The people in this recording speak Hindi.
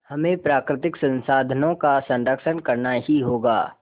हमें प्राकृतिक संसाधनों का संरक्षण करना ही होगा